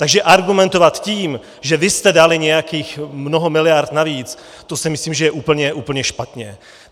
Takže argumentovat tím, že vy jste dali nějakých mnoho miliard navíc, to si myslím, že je úplně špatně.